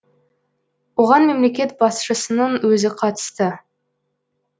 оған мемлекет басшысының өзі қатысты